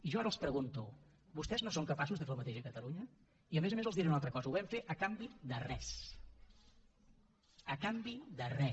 jo ara els pregunto vostès no són capaços de fer el mateix a catalunya i a més a més els diré una altra cosa ho vam fer a canvi de res a canvi de res